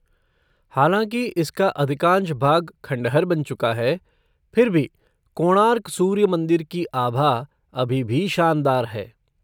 हालाँकि इसका अधिकांश भाग खंडहर बन चुका है, फिर भी कोणार्क सूर्य मंदिर की आभा अभी भी शानदार है।